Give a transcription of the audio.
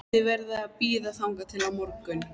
Þið verðið að bíða þangað til á morgun